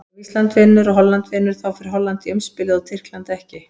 Ef Ísland vinnur og Holland vinnur, þá fer Holland í umspilið og Tyrkland ekki.